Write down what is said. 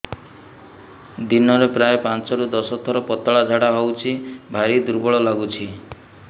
ଦିନରେ ପ୍ରାୟ ପାଞ୍ଚରୁ ଦଶ ଥର ପତଳା ଝାଡା ହଉଚି ଭାରି ଦୁର୍ବଳ ଲାଗୁଚି